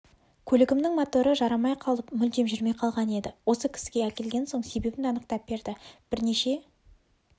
көлігімнің моторы жарамай қалып мүлдем жүрмей қалған еді осы кісіге әкелген соң себебін анықтап берді бірнеше